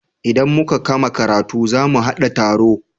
Idan muka kama karatu za mu haɗa taro.